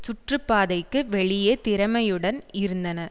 சுற்றுப்பாதைக்கு வெளியே திறமையுடன் இருந்தன